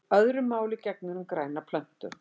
Öðru máli gegnir um grænar plöntur.